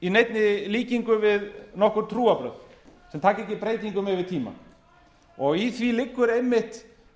í neinni líkingu við nokkur trúarbrögð sem taka ekki breytingum yfir tímann í því liggur einmitt